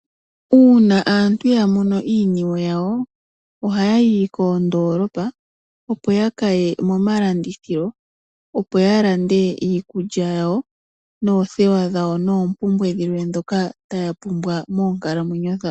Uuna aantu ya mono iiniwe yawo ohaya yi koondoolopa opo ya ka ye momalandithilo opo ya lande iikulya yawo noothewa dhawo noompumbwe dhawo dhilwe ndhoka taya pumbwa moonkalamwenyo dhawo.